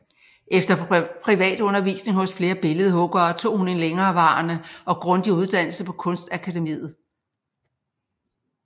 Efter privatundervisning hos flere billedhuggere tog hun en længerevarende og grundig uddannelse på Kunstakademiet